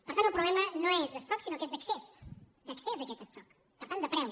per tant el problema no és d’estoc sinó que és d’accés d’accés a aquest estoc per tant de preu